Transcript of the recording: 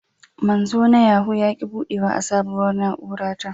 Manzo na Yahoo ya ki budewa a sabuwar na'ura ta